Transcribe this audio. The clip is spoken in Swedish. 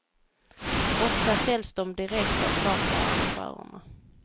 Ofta säljs de direkt av charterarrangörerna.